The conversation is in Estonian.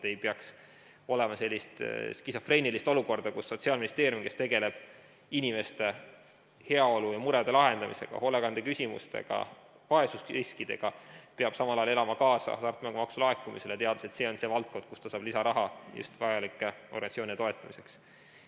Ei peaks olema sellist skisofreenilist olukorda, kus Sotsiaalministeerium, kes tegeleb inimeste heaolu ja murede lahendamisega, hoolekandeküsimustega, vaesusriskidega, peab samal ajal elama kaasa hasartmängumaksu laekumisele, teades, et see on see valdkond, kust ta saab lisaraha vajalike organisatsioonide toetamiseks.